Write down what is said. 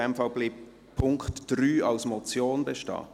In dem Fall bleibt der Punkt 3 als Motion bestehen?